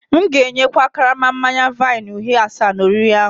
M'gēnye kwa karama manya-vine uhie asa n'oriri ahu